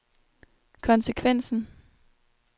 konsekvensen